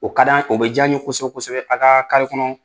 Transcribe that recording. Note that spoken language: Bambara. O ka d'an o bɛ ja an ye kosɛbɛ kosɛbɛ a ka kɔnɔ.